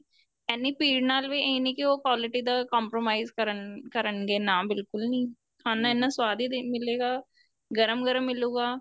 ਇੰਨੀ ਭੀੜ ਨਾਲ ਵੀ ਇਹ ਨੀਂ ਕੀ ਉਹ quality ਦਾ compromise ਕਰਨਗੇ ਨਾ ਬਿਲਕੁਲ ਨੀਂ ਖਾਣਾ ਇੰਨਾ ਸਵਾਦ ਈ ਮਿਲੇਗਾ ਗਰਮ ਗਰਮ ਮਿਲੂਗਾ